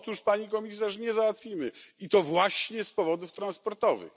Otóż nie, Pani Komisarz, nie załatwimy, i to właśnie z powodów transportowych.